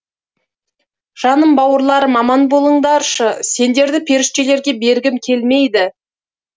жаным бауырларым аман болыңдаршы сендерді періштелерге бергім келмейді